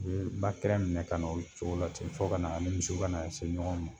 Be ba kɛra minɛ ka na o cogo la ten fɔ kana ani misiw kana se ɲɔgɔn ma.